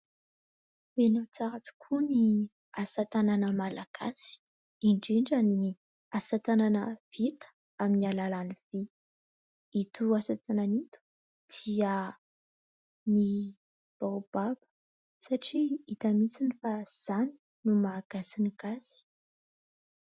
Tena tsara tokoa ny asa tanana malagasy indrindra ny asa tanana vita amin'ny alalan'ny vy. Ito asa tanana ito dia ny baobab satria hita mitsiny fa izany no maha gasy ny gasy.